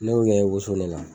N'o yɛrɛ woso nala.